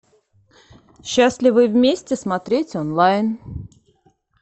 счастливы вместе смотреть онлайн